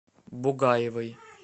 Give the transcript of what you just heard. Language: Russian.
бугаевой